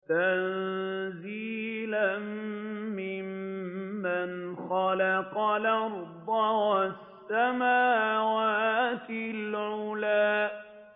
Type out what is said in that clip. تَنزِيلًا مِّمَّنْ خَلَقَ الْأَرْضَ وَالسَّمَاوَاتِ الْعُلَى